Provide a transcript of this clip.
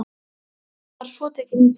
Báturinn var svo tekinn í tog.